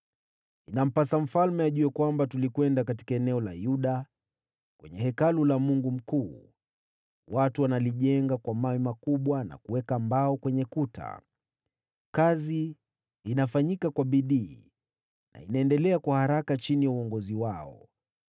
Inampasa Mfalme ajue kwamba tulikwenda katika eneo la Yuda, kwenye Hekalu la Mungu mkuu. Watu wanalijenga kwa mawe makubwa na kuweka mbao kwenye kuta. Kazi inafanyika kwa bidii na inaendelea kwa haraka chini ya uongozi wao.